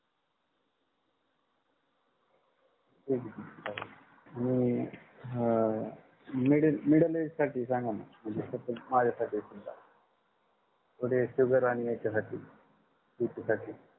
आणि हा middle middle age साठी सांगाणा म्हणजे माझ्यासाठी समजा थोडे sugar आणि याच्यासाठी bp साठी